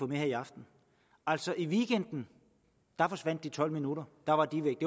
med her i aften altså i weekenden forsvandt de tolv minutter der var de væk